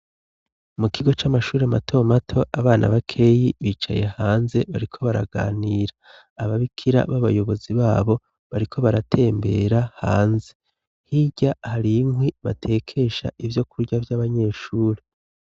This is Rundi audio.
Mu kigo c'amashure mato mato, abana bakeyi bicaye hanze, bariko baraganira. Ababikira b'abayobozi babo bariko baratembera hanze. Hirya hari inkwi batekesha ivyokurya vy'abanyeshure.